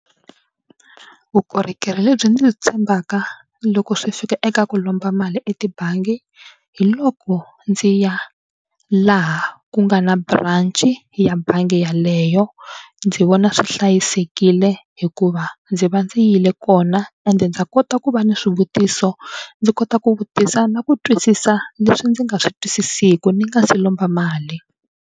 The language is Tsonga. Vukorhokeri lebyi ndzi tshembaka loko swi fika eka ku lomba mali etibangi hi loko ndzi ya laha ku nga na branch ya bangi yaleyo. ndzi vona swi hlayisekile hikuva ndzi va ndzi yile kona ende ndza kota ku va ni swivutiso ndzi kota ku vutisa na ku twisisa leswi ndzi nga swi twisisiku ni nga si lomba mali.